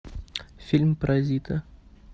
фильм паразиты